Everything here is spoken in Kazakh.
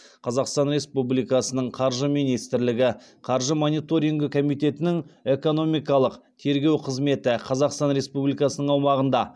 қазақстан республикасының қаржы министрлігі қаржы мониторингі комитетінің экономикалық тергеу қызметі қазақстан республикасының аумағында